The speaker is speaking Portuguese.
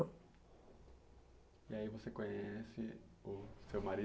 E aí você conhece o seu marido?